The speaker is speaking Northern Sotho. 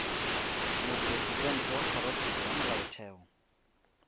mopresidente wa kgorotsheko ya molaotheo